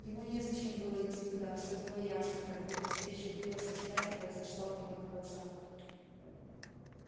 ему незачем было идти туда всё было ясно как будто встреча билла со стаей произошла у него на глазах